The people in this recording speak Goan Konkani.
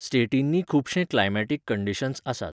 स्टेटिनीं खुबशे क्लायमॅटीक कंडीशन्स आसात.